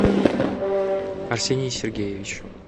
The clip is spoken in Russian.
арсений сергеевич